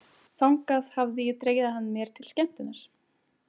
Þangað hafði ég dregið hann mér til skemmtunar.